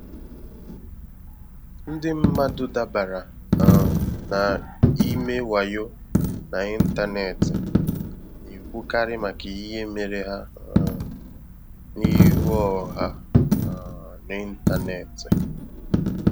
Ndị mmadụ dabara um n'ime wayo n'ịntanetị na-ekwukarị maka ihe mere ha um n'ihu ọha um n'ịntanetị.